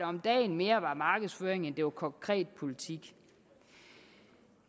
om dagen mere var markedsføring end det var konkret politik